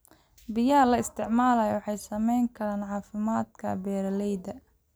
Biyaha la isticmaalo waxay saamayn karaan caafimaadka beeralayda.